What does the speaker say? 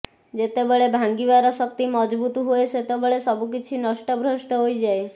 ଯେତେବେଳେ ଭାଙ୍ଗିବାର ଶକ୍ତି ମଜଭୁତ ହୁଏ ସେତେବେଳେ ସବୁକିଛି ନଷ୍ଟଭ୍ରଷ୍ଟ ହୋଇଯାଏ